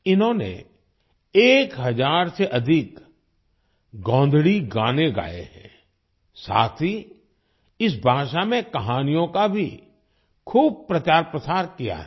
इन्होनें 1000 से अधिक गोंधली गाने गाए हैं साथ ही इस भाषा में कहानियों का भी खूब प्रचार प्रसार किया है